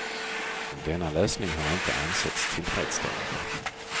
Denna lösning har inte ansetts tillfredsställande.